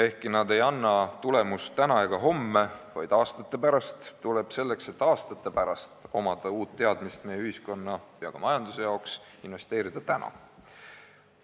Ehkki nad ei anna tulemust täna ega homme, vaid aastate pärast, tuleb selleks, et aastate pärast oleks uusi teadmisi nii ühiskonna kui ka majanduse jaoks, investeerida täna.